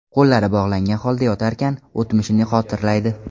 Qo‘llari bog‘langan holda yotarkan, o‘tmishini xotirlaydi.